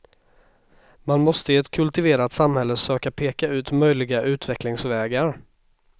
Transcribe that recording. Man måste i ett kultiverat samhälle söka peka ut möjliga utvecklingsvägar.